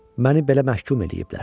Məni belə məhkum eləyiblər.